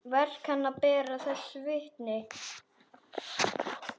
Verk hennar bera þess vitni.